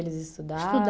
Eles estudavam? Estudavam.